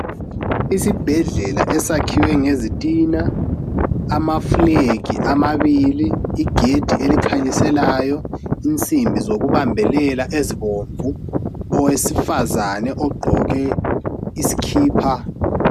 Isibhedlela esakhiwe ngezitina amafulegi amabili igedi elikhanyiselayo insimbi zokubambelela ezibomvu owesifazane ogqoke isikipa